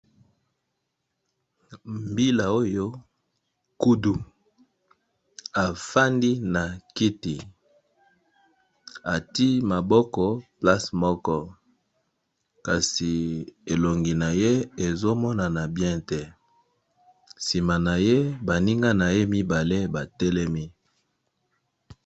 Mbila oyo kudu afandi na kiti ati maboko place moko kasi elongi na ye ezo monana bien te, nsima na ye ba ninga na ye mibale ba telemi.